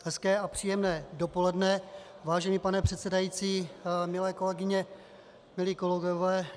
Hezké a příjemné dopoledne, vážený pane předsedající, milé kolegyně, milí kolegové.